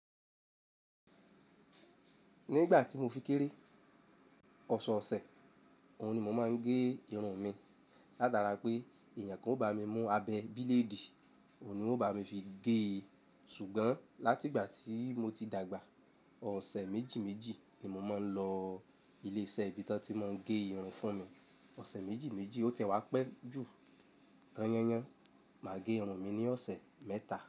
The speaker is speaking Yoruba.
Ní ìgbà tí mo fi kéré, ọ̀ṣọ́ ọ̀sẹ̀ òun ni mo máa ń gé irun mi. Látara pé èèyàn kan o bá mi mú abẹ́ bíléèdì, òun ni wón bá mi fi gé e. Ṣùgbọ́n láti ìgbà tí mo ti dàgbà, ọ̀sẹ̀ méjì méjì ni mo máa ń lọ ilé-iṣẹ́ ibi tí wọ́n ti máa ń gé irun fún mi. Ọ̀sẹ̀ méjì méjì ó tẹ́wá pẹ́ ju tan-yan-yan. Máa gé irun mi ní ọ̀sẹ̀ mẹ́ta.